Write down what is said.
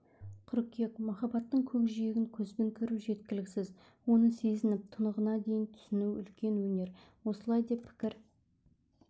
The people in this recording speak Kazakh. қыркүйек махаббаттың көкжиегін көзбен көру жеткіліксіз оны сезініп тұнығына дейін түсіну үлкен өнер осылай деп пікір